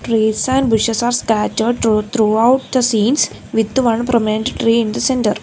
trees and bushes are scattered thru throughout the scenes with the one prominent tree in the centre.